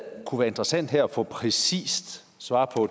kunne være interessant at få et præcist svar på